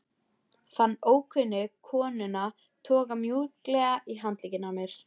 Fann ókunnu konuna toga mjúklega í handlegginn á mér